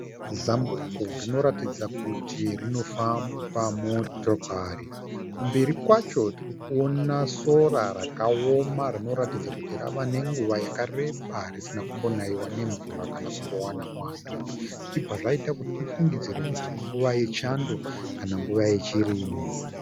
Zambuko rinoratidza kuti rinofamba motokari. Kumberi kwacho tirikuona sora rakaoma rinoratidza kuti rave nenguva yakareba risina kumbonaiwa nemvura kana kumbowana mwando zvichibva zvaita kuti tifungidzire kuti inguva yechando kana nguva yechirimo.